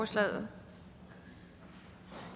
stillet